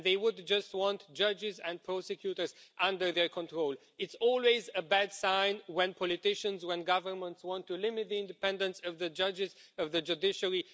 and they will just want judges and prosecutors under their control. It's always a bad sign when politicians and governments want to limit the independence of the judges, of the judiciary.